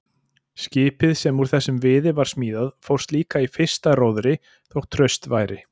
Skipið sem úr þessum viði var smíðað fórst líka í fyrsta róðri þó traust væri.